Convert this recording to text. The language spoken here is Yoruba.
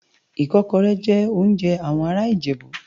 Ikòkòrè jè óonjè áwòn àrá Ijebu